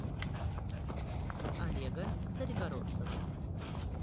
олега царегородцева